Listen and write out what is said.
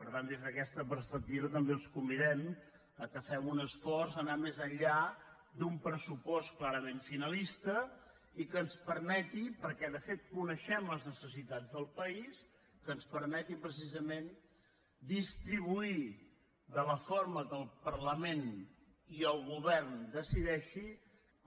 per tant des d’aquesta perspectiva també els convidem que fem un esforç a anar més enllà d’un pressupost clarament finalista i que ens permeti perquè de fet coneixem les necessitats del país que ens permeti precisament distribuir de la forma que el parlament i el govern decideixin